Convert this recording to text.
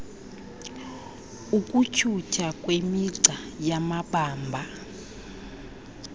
ukutyhutyha ngemigca yamabamba